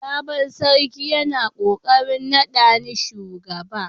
Sabon sarki yana kokarin nada ni shugaba.